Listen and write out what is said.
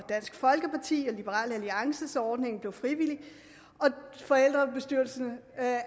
dansk folkeparti og liberal alliance den så ordningen blev frivillig forældrebestyrelserne